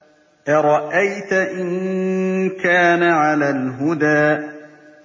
أَرَأَيْتَ إِن كَانَ عَلَى الْهُدَىٰ